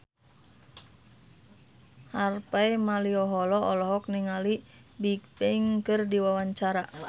Harvey Malaiholo olohok ningali Bigbang keur diwawancara